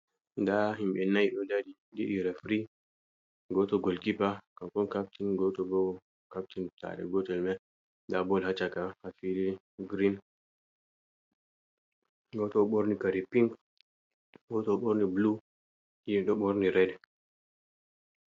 Nɗaa himɓe nay ɗo dari ɗiɗi refri gooto golkipa kanko on captain gooto boo captain saare gootel mai nda bol haa caka haa fiilii green gooto ɗo ɓorni kare pink gooto ɗo borni blue nayo ɗo borni red